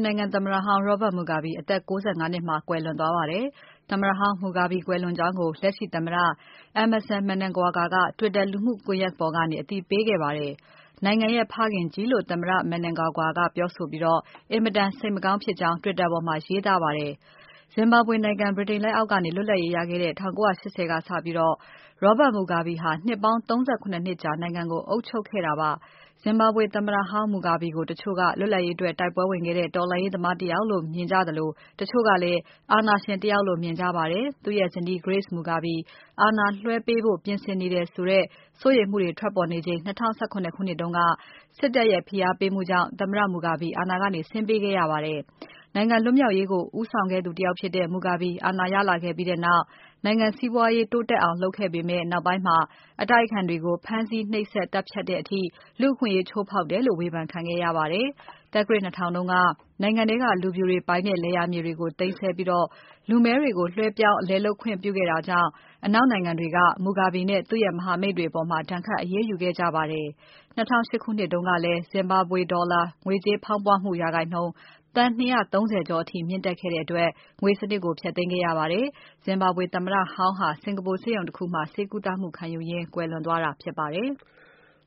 နိုင်ငံသမ္မတဟောင်း Robert Mugabe အသက် ၉၅ နှစ်မှာ ကွယ်လွန်သွားပါတယ်။ သမ္မတဟောင်း Mugabe ကွယ်လွန်ကြောင်းကို လက်ရှိသမ္မတ Emmerson Mnangagwa က Twitter လူမှုကွန်ယက်ပေါ်ကနေ အသိပေးခဲ့ပါတယ်။ နိုင်ငံရဲ့ ဖခင်ကြီးလို့ သမ္မတ Mnangagwa ကပြောဆိုပြီး အင်မတန် စိတ်မကောင်းဖြစ်ကြောင်း Twitter ပေါ်မှာ ရေးသားပါတယ်။ Zimbabwe နိုင်ငံ ဗြိတိန်လက်အောက်ကနေ လွတ်လပ်ရေးရခဲ့ ပြီးနောက်ပိုင်း ၁၉၈၀ ခုနှစ်ကစပြီး Robert Mugabe ဟာ နှစ်ပေါင်း ၃၇ နှစ်ကြာ နိုင်ငံကို အုပ်ချုပ်ခဲ့တာပါ။ Zimbabwe သမ္မတဟောင်း Mugabe ကို တချို့က လွတ်လပ်ရေးအတွက် တိုက်ပွဲဝင်ခဲ့တဲ့ တော်လှန်ရေးသမားတယောက်လို့ မြင်ကြသလို တချို့ကလည်း အာဏာရှင်တယောက်လို့ မြင်ကြပါတယ်။ သူ့ရဲ့ဇနီး Grace Mugabe အာဏာလွှဲပေးဖို့ ပြင်ဆင်နေတယ်ဆိုတဲ့ စိုးရိမ်မှုတွေ ထွက်ပေါ်ခဲ့ချိန် ၂၀၁၇ ခုနှစ်က စစ်တပ်ရဲ့ ဖိအားပေးမှုကြောင့် သမ္မတ Mugabe အာဏာကနေ ဆင်းပေးခဲ့ရပါတယ်။ နိုင်ငံလွတ်မြောက်ရေးကို ဦးဆောင်ခဲ့သ ူတယောက်ဖြစ်တဲ့ Mugabe အာဏာရလာခဲ့ပြီးနောက် နိုင်ငံ စီးပွားရေး တိုးတက်အောင်လုပ်ခဲ့ပေမဲ့ နောက်ပိုင်း အတိုက်အခံတွေကို ဖမ်းဆီး၊ နှိပ်စက်၊ သတ်ဖြတ်တဲ့အထိ လူ့အခွင့်အရေး ချိုးဖောက်တယ်လို့ ဝေဖန်ခံခဲ့ရပါတယ်။ သက္ကရာဇ် ၂၀၀၀ တုန်းက နိုင်ငံထဲက လူဖြူတွေပိုင်တဲ့ လယ်ယာမြေတွေကို သိမ်းဆည်းပြီး လူမည်းတွေကို လွှဲပြောင်း လယ်လုပ်ခွင့်ပြုခဲ့တာကြောင့် အနောက်နိုင်ငံတွေက Mugabe နဲ့ သူ့ရဲ့မဟာမိတ်တွေအပေါ် ဒဏ်ခတ်အရေးယူခဲ့ကြပါတယ်။ ၂၀၀၈ ခုနှစ်တုန်းကလည်း Zimbabwean ဒေါ်လာငွေကြေး ဖောင်းပွမှု ရာခိုင်နှုန်း သန်း ၂၃၀ ကျော်အထိ မြင့်တက်ခဲ့တဲ့အတွက် ငွေစနစ်ကို ဖျက်သိမ်းခဲ့ရပါတယ်။ Zimbabwe သမ္မတဟောင်းဟာ စင်္ကာပူဆေးရုံတခုမှာ ဆေးကုသမှုခံယူရင်း သေဆုံးသွားတာ ဖြစ်ပါတယ်။